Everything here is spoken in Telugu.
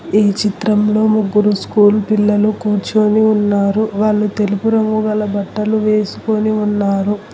ఈ చిత్రంలో ముగ్గురు స్కూల్ పిల్లలు కూర్చొని ఉన్నారు వాళ్ళు తెలుపు రంగు గల బట్టలు వేసుకొని ఉన్నారు.